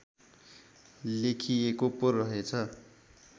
लेखिएको पो रहेछ